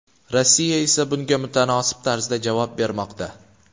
Rossiya esa bunga mutanosib tarzda javob bermoqda.